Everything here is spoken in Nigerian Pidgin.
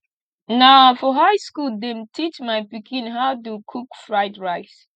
na for high skool dem teach my pikin how do cook fried rice